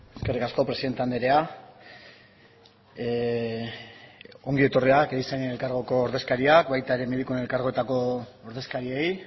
eskerrik asko presidente anderea ongi etorriak erizainen elkargoko ordezkariak baita ere medikuen elkargoetako ordezkariei